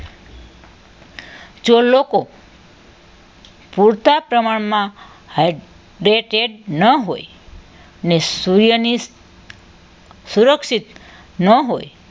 જો લોકો પૂરતા પ્રમાણમાં હાઇડ્રેટેડ ન હોય ને શુંયાની સુરક્ષિત ન હોય